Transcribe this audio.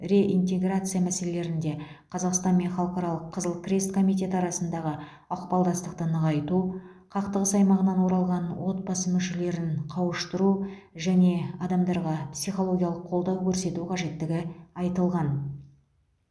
реинтеграция мәселелерінде қазақстан мен халықаралық қызыл крест комитеті арасындағы ықпалдастықты нығайту қақтығыс аймағынан оралған отбасы мүшелерін қауыштыру және адамдарға психологиялық қолдау көрсету қажеттігі айтылған